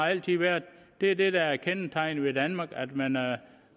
altid været det det der er kendetegnende for danmark er at man er